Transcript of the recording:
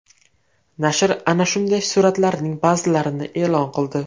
Nashr ana shunday suratlarning ba’zilarini e’lon qildi.